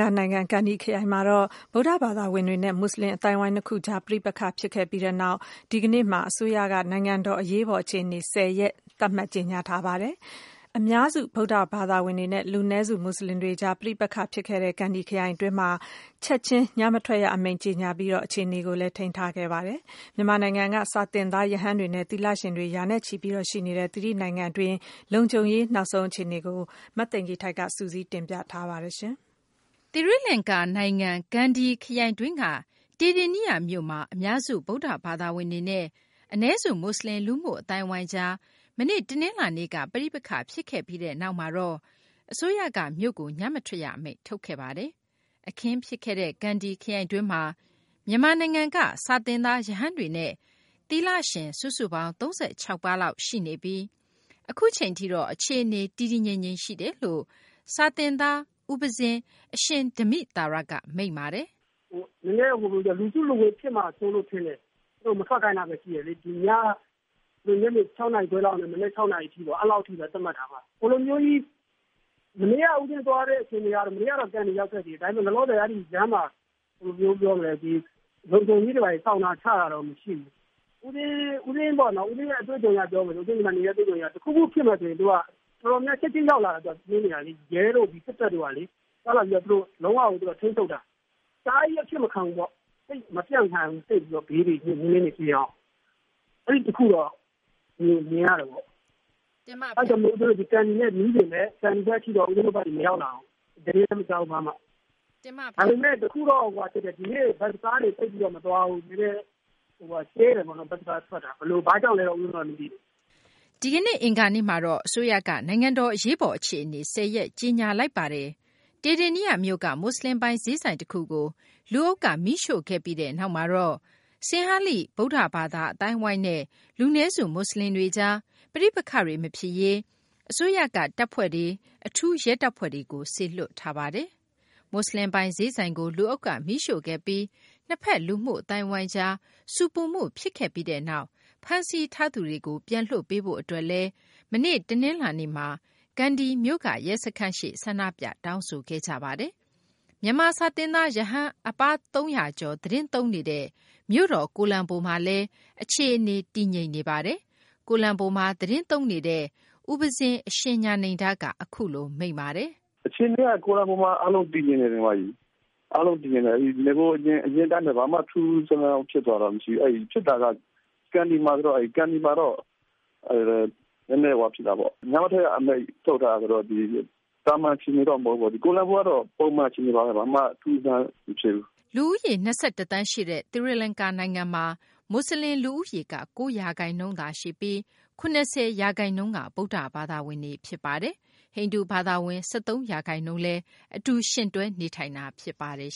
ကာၤနိုင်ငံ ကန္ဒီခရိုင်မှာ ဗုဒ္ဓဘာသာဝင်တွေနဲ့ မူဆလင် အသိုင်းအဝိုင်း နှစ်ခုကြား ပဋိပက္ခဖြစ်ခဲ့ပြီးနောက် ဒီကနေ့မှာတော့အစိုးရက နိုင်ငံတော် အရေးပေါ် အခြေအနေ ၁၀ ရက် သတ်မှတ်ကြေညာထားပါတယ်။ အများစု ဗုဒ္ဓဘာသာဝင်တွေနဲ့ လူနည်းစု မူဆလင်တွေကြား ပဋိပက္ခ ဖြစ်ခဲ့တဲ့ ကန္ဒီ ခရိုင်တွင်းမှာတော့ ချက်ချင်း ညမထွက်ရ အမိန့် ကြေညာပြီး အခြေအနေကို ထိန်းသိမ်းခဲ့တာပါ။ မြန်မာနိုင်ငံက စာသင်သား ရဟန်းတွေနဲ့ သီလရှင်တွေ ရာနဲ့ချီ ရှိနေတဲ့ သီရိလင်္ကာ နိုင်ငံတွင်း လုံခြုံရေး နောက်ဆုံး အခြေအနေကို မသိင်္ဂ ီထိုက် စုစည်းတင်ပြထားပါတယ်။ သီရိလကာၤ နိုင်ငံ ကန္ဒီ ခရိုင်တွင်းက တေဒေနိယမြို့မှာ အများစု ဗုဒ္ဓဘာသာဝင်တွေနဲ့ အနည်းစု မူဆလင် လူမှု အသိုင်းအဝိုင်းကြားမှာ မနေ့ တနလာၤနေ့က ပဋိပက္ခ ဖြစ်ခဲ့ပြီးနောက်မှာတော့ အစိုးရက မြို့ကို ညမထွက်ရ အမိန့် ထုတ်ထားတာပါ။ အခင်းဖြစ်ခဲ့တဲ့ ကန္ဒီ ခရိုင်တွင်းမှာ မြန်မာနိုင်ငံက စာသင်သား ရဟန်းတွေနဲ့ သီလရှင် စုစုပေါင်း ၃၆ ပါးလောက် ရှိနေပြီး အခုအချိန်ထိတော့ အခြေအနေ တည်တည်ငြိမ်ငြိမ် ရှိတယ်လို့ စာသင်သား ဦးပဉ္စင်း အရှင် ဓမ္မိသာရ က မိန့်ပါတယ်။ "လူစုလူဝေးဖြစ်မှာစိုးလို့ထင်တယ် သူတို့မထွက်ခိုင်းတာရှိတယ်လေ။ ညနေ ၆ နာရီခွဲလောက်ကနေ မနက် ၆ နာရီအထိ အဲဒီလောက်အထိပဲ သတ်မှတ်တာပါ။ မနေ့ကဦးပဉ္စင်း သွားတဲ့အခြေအနေကတော့ မနေ့ကန္ဒီရောက်ခဲ့တယ်။ ဘယ်လိုမျိုးပြောမလဲ လုံခြုံရေးတွေ ဘာတွေချတာကတော့ မရှိဘူး။ ဦးပဉ္စင်းအတွေ့အကြုံအရပြောမယ်ဆိုရင် တခုခုဖြစ်မယ်ဆိုရင် တော်တော်များများ ချက်ချင်းရောက်လာတယ် ရဲတို့ စစ်တပ်တို့ကလေ ရောက်လာပြီးတော့ သူတို့က ထိန်းချုပ်တာ။ သူတို့က အဖြစ်မခံဘူးပေါ့ မပြန့်ခိုင်းဘူး ဘေးဘယ်တွေကို ။ အဲဒီတခုကတော့ မြင်ရတယ်ပေါ့နော်။ ကန္ဒီဘက်မှာဖြစ်ပေမယ့် ဦးပဉ္စင်းတို့ဘက်ကို မရောက်လာဘူး ၊ သတင်းလည်းမကြားဘူး။ ဒါပေမယ့် တခုတော့ဖြစ်တယ် ဒီနေ့ ဘက်စ်ကားတွေ မသွားဘူး ၊ ကြဲတယ်ပေါ့နော် ဘက်စ်ကားထွက်တာ ဘာကြောင့်လဲတော့ ဦးပဉ္စင်းတို့ မသိဘူး။" ဒီကနေ့ အင်္ဂါနေ့မှာတော့ အစိုးရက နိုင်ငံတော် အရေးပေါ် အခြေအနေ ၁၀ ရက်ကြေညာလိုက်တာပါ။ တေဒေနိယမြို့က မူဆလင်ပိုင် ဈေးဆိုင်တခုကို လူအုပ်က မီးရှို့ခဲ့ပြီးနောက်မှာတော့ ဆင်ဟာလိ ဗုဒ္ဓဘာသာ အသိုင်းအဝိုင်းနဲ့ လူနည်းစု မူဆလင်တွေကြား ပဋိပက္ခတွေ မဖြစ်ရေး အစိုးရက တပ်ဖွဲ့တွေ၊ အထူး ရဲတပ်ဖွဲ့တွေကို စေလွှတ်ထားပါတယ်။ မူဆလင်ပိုင် ဈေးဆိုင်ကို လူအုပ်က မီးရှို့ခဲ့ပြီး နှစ်ဘက် လူမှု အသိုင်းအဝိုင်းကြား ဆူပူမှု ဖြစ်ခဲ့ပြီးနောက် ဖမ်းဆီးခံရသူတွေကို ပြန်လွှတ်ပေးရေး အတွက်လည်း မနေ့ တနလာၤနေ့မှာ ကန္ဒီမြို့က ရဲစခန်းရှေ့ ဆန္ဒပြ တောင်းဆိုခဲ့ကြတာပါ။ မြန်မာ စာသင်သား ရဟန်း ၃၀၀ ကျော် သတင်းသုံးနေတဲ့ မြို့တော် ကိုလံဘိုမှာလည်း အခြေအနေ တည်ငြိမ်နေပါတယ်။ ကိုလံဘိုမှာ သတင်းသုံးနေတဲ့ ဦးပဉ္စင်း အရှင် ညဏိန္ဒက အခုလို မိန့်ပါတယ်။ "အခြေအနေက ကိုလံဘိုမှာ အားလုံးတည်ငြိမ်နေတယ်။ နဂိုအရင်အတိုင်းပဲ ဘာမှ ထူးထူးခြားခြား ဖြစ်တာမရှိဘူး ဖြစ်တာကတော့ ကန္ဒီမှာဆိုတော့ ကန္ဒီမှာတော့ နည်းနည်းဖြစ်တာပေါ့ ညမထွက်ရအမိန့်ထုတ်ထားတယ်ဆိုတော့ သမန်အခြေအနေတော့မဟုတ်ဘူးပေါ့ ကိုလံဘိုမှာတော့ ပုံမှန်အခြေအနေပါပဲ ဘာမှ ထူးထူးခြားခြားမဖြစ်ဘူး။" လူဦးရေ ၂၁ သန်းရှိတဲ့ သီရိလကာၤနိုင်ငံမှာ မူဆလင် လူဦးရေက ၉ ရာခိုင်နှုန်းသာ ရှိပြီး ၇၀ ရာခိုင်နှုန်းက ဗုဒ္ဓဘာသာဝင်တွေ ဖြစ်ပါတယ်။ ဟိန္ဒူ ဘာသာဝင်ကတော့ ၁၃ ရာခိုင်နှုန်း နေထိုင်နေကြတာ ဖြစ်ပါတယ်